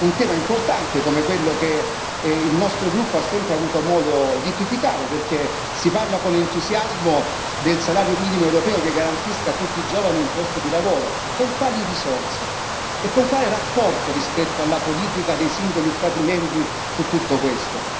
Un tema importante come quello che il nostro gruppo ha sempre avuto modo di criticare, perché si parla con entusiasmo del salario minimo europeo che garantisca a tutti i giovani un posto di lavoro, con quali risorse e con quale rapporto rispetto alla politica dei singoli Stati membri su tutto questo?